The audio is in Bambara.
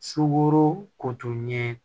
Suboro ko tun ye